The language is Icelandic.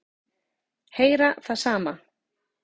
Heyra það sama.